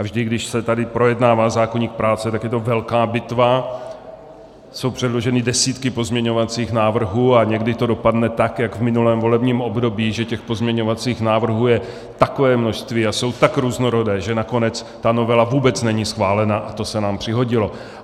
A vždy, když se tady projednává zákoník práce, tak je to velká bitva, jsou předloženy desítky pozměňovacích návrhů a někdy to dopadne tak jak v minulém volebním období, že těch pozměňovacích návrhů je takové množství a jsou tak různorodé, že nakonec ta novela vůbec není schválena, a to se nám přihodilo.